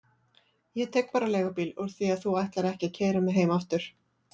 Ég tek bara leigubíl úr því að þú ætlar ekki að keyra mig heim aftur.